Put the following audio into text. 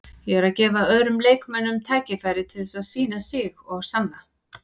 Ég er að gefa öðrum leikmönnum tækifæri til þess að sýna sig og sanna.